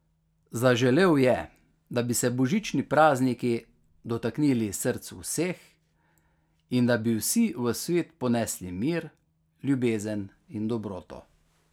Zaželel je, da bi se božični prazniki dotaknili src vseh in da bi vsi v svet ponesli mir, ljubezen in dobroto.